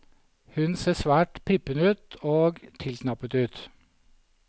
Hun ser svært prippen ut og tilknappet ut.